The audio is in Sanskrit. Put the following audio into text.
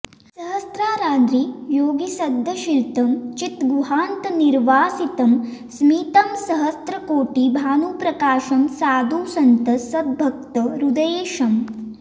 सहस्राराद्रि योगिसद्दर्शितं चिद्गुहान्तर्निवासितम् स्मितं सहस्र कोटि भानुप्रकाशं साधुसन्त सद्भक्त हृदयेशम्